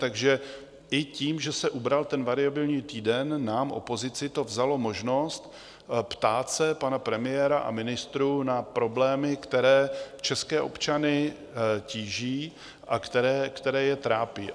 Takže i tím, že se ubral ten variabilní týden, nám, opozici, to vzalo možnost ptát se pana premiéra i ministrů na problémy, které české občany tíží a které je trápí.